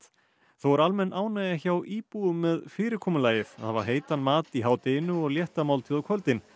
þó er almenn ánægja hjá íbúum með fyrirkomulagið að hafa heitan mat í hádeginu og létta máltíð á kvöldin